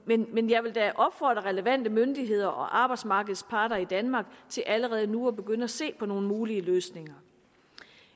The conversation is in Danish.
da opfordre relevante myndigheder og arbejdsmarkedets parter i danmark til allerede nu at begynde at se på nogle mulige løsninger